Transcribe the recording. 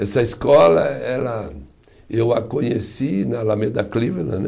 Essa escola, ela, eu a conheci né, Alameda Cleveland né